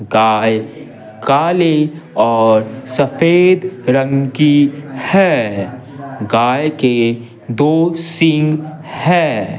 गाय काले और सफेद रंग की है गाय के दो सिंघ हैं।